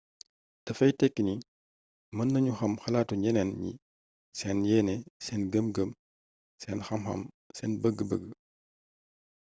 dafay teki ni mën nañu xam xalatu ñeneen ñi seen yeene sen gëm gëm, seen xam xam seen bëg-bëg